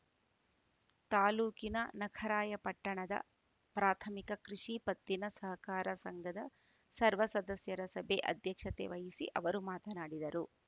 ತಾಲೂಕಿನ ನಖರಾಯಪಟ್ಟಣದ ಪ್ರಾಥಮಿಕ ಕೃಷಿ ಪತ್ತಿನ ಸಹಕಾರ ಸಂಘದ ಸರ್ವ ಸದಸ್ಯರ ಸಭೆ ಅಧ್ಯಕ್ಷತೆ ವಹಿಸಿ ಅವರು ಮಾತನಾಡಿದರು